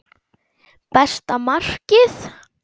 Besta markið?